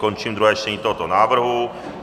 Končím druhé čtení tohoto návrhu.